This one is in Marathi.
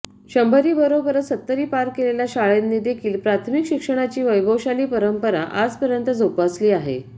शंभरीबरोबरच सत्तरी पार केलेल्या शाळांनीदेखील प्राथमिक शिक्षणाची वैभवशाली परंपरा आजपर्यंत जोपासली आहे